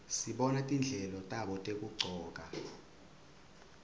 sibona tindlela tabo tekugcoka